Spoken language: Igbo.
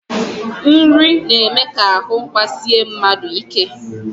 Nri na-eme ka ahụ gbasie mmadụ ike